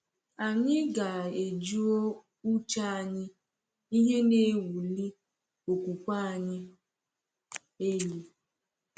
Anyị ga-ejuo uche anyị ihe na-ewuli okwukwe anyị elu.